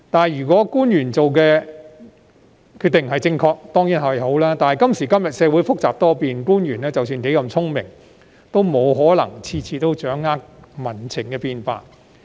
如果官員所做決定是正確，當然無問題，但今時今日，社會複雜多變，官員即使有多聰明，也不可能每次都能掌握民情的變化。